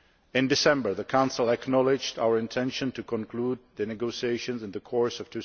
In December the Council acknowledged our intention to conclude the negotiations in the course of